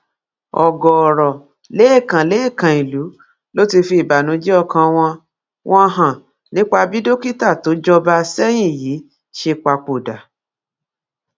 ọgọọrọ lẹẹkan lẹẹkan ìlú ló ti fi ìbànújẹ ọkàn wọn wọn hàn nípa bí dókítà tó jọba àsẹyìn yìí ṣe papòdà